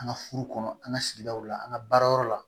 An ka furu kɔnɔ an ka sigidaw la an ka baarayɔrɔ la